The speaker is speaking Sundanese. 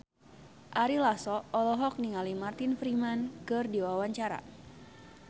Ari Lasso olohok ningali Martin Freeman keur diwawancara